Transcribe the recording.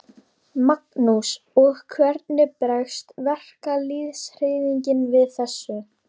Magnús: Og hvernig bregst verkalýðshreyfingin við þessu?